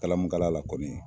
Kalamukala la kɔni